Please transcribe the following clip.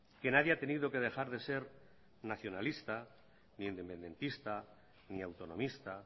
que nadie ha tenido que dejar de ser nacionalista ni independentista ni autonomista